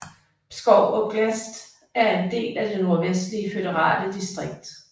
Pskov oblast er en del af det Nordvestlige føderale distrikt